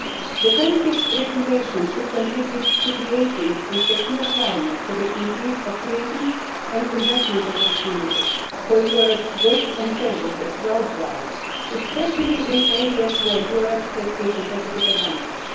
The current regulation should contribute to creating a secure climate for the increase of trading and investment opportunities for Europe's goods and services worldwide, especially in areas where Europe has a competitive advantage.